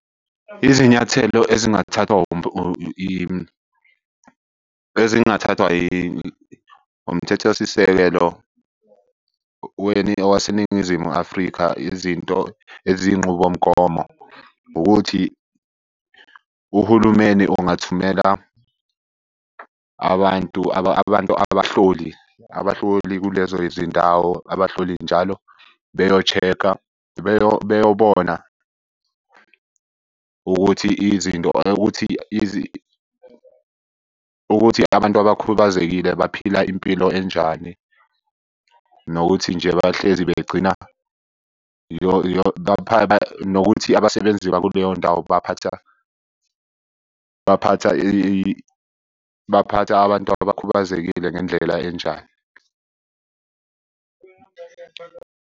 Izinyathelo ezingathathwa ezingathathwa Umthethosisekelo waseNingizimu Afrika, izinto eziy'nqubomgomo, ukuthi uhulumeni ungathumela abantu abantu abahloli. Abahloli kulezo zindawo abahloli njalo beyo-check-a, beyobona ukuthi izinto ukuthi ukuthi abantu abakhubazekile baphila impilo enjani. Nokuthi nje bahlezi begcina nokuthi abasebenzi bakuleyo ndawo baphatha, baphatha baphatha abantu abakhubazekile ngendlela enjani.